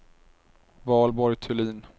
Valborg Thulin